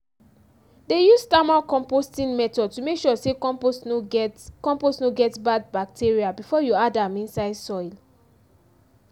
dey use thermal composting method to make sure say compost no get compost no get bad bacteria before you add am inside soil